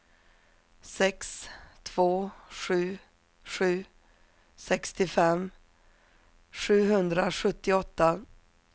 sex två sju sju sextiofem sjuhundrasjuttioåtta